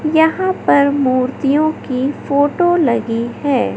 यहां पर मूर्तियों की फोटो लगी है।